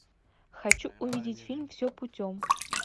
хочу увидеть фильм все путем